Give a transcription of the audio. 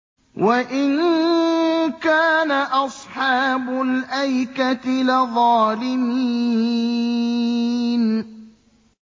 وَإِن كَانَ أَصْحَابُ الْأَيْكَةِ لَظَالِمِينَ